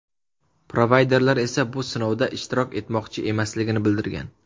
Provayderlar esa bu sinovda ishtirok etmoqchi emasligini bildirgan.